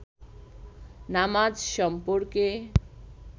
নামাজ সম্পর্কে